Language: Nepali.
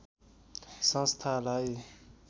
संस्थालाई